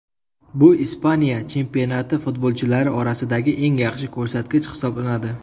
Bu Ispaniya chempionati futbolchilari orasidagi eng yaxshi ko‘rsatkich hisoblanadi .